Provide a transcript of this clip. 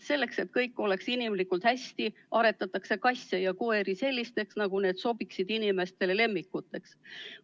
Selleks, et kõik oleks hästi, aretatakse kasse ja koeri sellisteks, et nad sobiksid inimestele lemmikuteks.